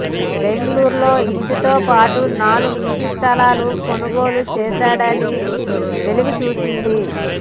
బెంగళూరులో ఇంటితో పాటు నాలుగు ఇంటి స్థలాలు కొనుగోలు చేశాడని వెలుగు చూసింది